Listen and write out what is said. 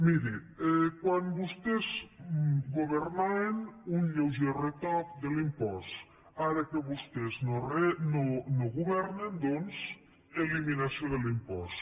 miri quan vostès governaven un lleuger retoc de l’impost ara que vostès no governen doncs eliminació de l’impost